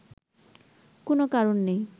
কোন কারণ নেই